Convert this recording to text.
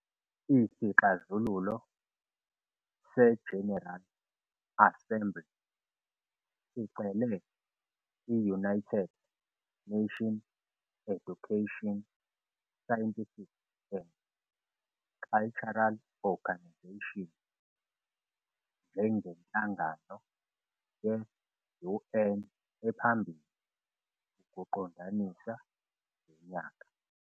Isixazululo se-General Assembly sicele i- United Nations Educational, Scientific and Cultural Organization njengenhlangano ye-UN ephambili ukuqondisa lo nyaka.